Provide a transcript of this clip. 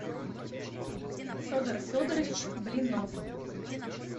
федор федорович блинов